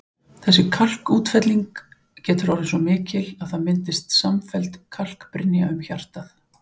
Þessi kalkútfelling getur orðið svo mikil að það myndist samfelld kalkbrynja um hjartað.